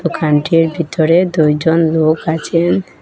দোকানটির ভিতরে দুইজন লোক আছে।